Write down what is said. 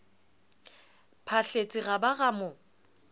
phahletse ra ba ra mo